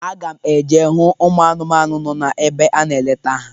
Aga m eje hụ ụmụanụmanụ nọ na ebe a na-aleta ha.